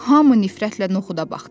Hamı nifrətlə noxuda baxdı.